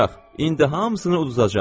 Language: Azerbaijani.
İndi hamısını uduzacaq.